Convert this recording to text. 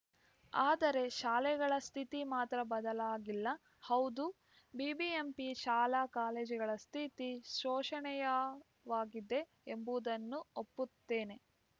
ಆದರೆ ಶಾಲೆಗಳ ಸ್ಥಿತಿ ಮಾತ್ರ ಬದಲಾಗಿಲ್ಲ ಹೌದು ಬಿಬಿಎಂಪಿ ಶಾಲಾ ಕಾಲೇಜುಗಳ ಸ್ಥಿತಿ ಶೋಷನೆಯವಾಗಿದೆ ಎಂಬುದನ್ನು ಒಪ್ಪುತ್ತೇನೆ